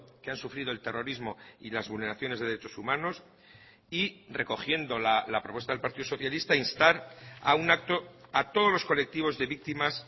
que han sufrido el terrorismo y las vulneraciones de derechos humanos y recogiendo la propuesta del partido socialista instar a un acto a todos los colectivos de víctimas